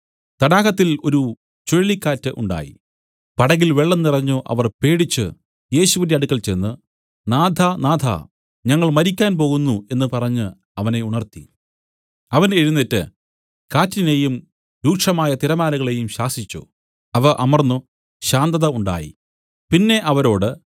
തടാകത്തിൽ ഒരു ചുഴലിക്കാറ്റ് ഉണ്ടായി പടകിൽ വെള്ളം നിറഞ്ഞു അവർ പേടിച്ചു യേശുവിന്റെ അടുക്കെ ചെന്ന് നാഥാ നാഥാ ഞങ്ങൾ മരിക്കാൻ പോകുന്നു എന്നു പറഞ്ഞു അവനെ ഉണർത്തി അവൻ എഴുന്നേറ്റ് കാറ്റിനേയും രൂക്ഷമായ തിരമാലകളേയും ശാസിച്ചു അവ അമർന്നു ശാന്തത ഉണ്ടായി പിന്നെ അവരോട്